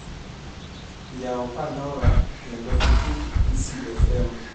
yaw pandora kendo itug easy f.m.